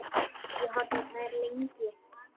Horfði á þær lengi.